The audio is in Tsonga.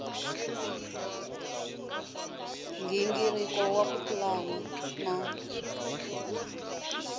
nghingiriko wa ku pulana na